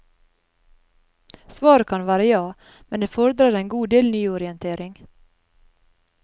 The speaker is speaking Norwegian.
Svaret kan være ja, men det fordrer en god del nyorientering.